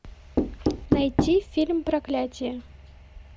найти фильм проклятие